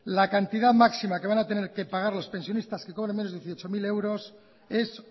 la cantidad máxima que van a tener que pagar los pensionistas que cobren menos de dieciocho mil euros es